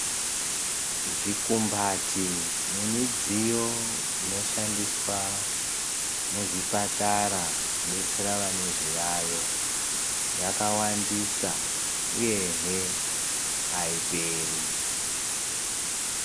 Zvikumbati nemidziyo inoshandiswa muzvipatara kudetsera vane zviyayo yakawandisa uyehe aiperi.